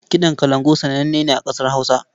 Kiɗan kalangu sananne ne a ƙasar Hausa.